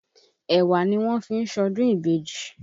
Èwà ni wọ́n fi ń ṣọdún ìbejì.